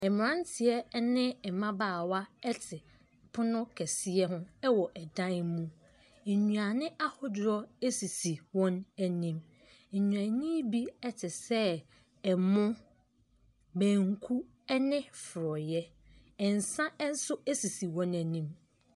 Mmeranteɛ ne mmabaawa te pono kɛseɛ ho wɔ dan mu. Nnuane ahodoɔ sisi wɔn anim. Nnuane yi bi te sɛ ɛmo, banku ne forɔeɛ. Nsa nso sisi wɔn anim.